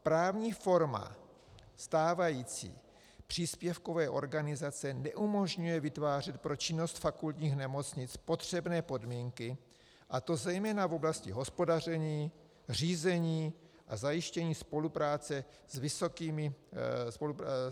Právní forma stávající příspěvkové organizace neumožňuje vytvářet pro činnost fakultních nemocnic potřebné podmínky, a to zejména v oblasti hospodaření, řízení a zajištění spolupráce s vysokými školami.